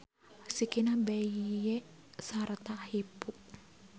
Sikina beye sarta hipu.